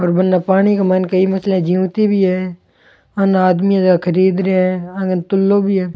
और बन पानी के माइन कई मछलियां जीवती भी है आन आदमी खरीद रहा है आ कन तुलो भी है।